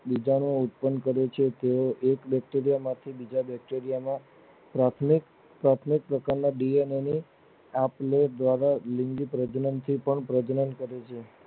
બીજા ને ઉત્પન કરે છે તેઓ એક Bacteria માંથી બીજા Bacteria ને પ્રાથમિક દિવ્યાના અંગો આપ લે દ્વારા પણ લિંગી પ્રજનન થી પણ પ્રજનન કરે છે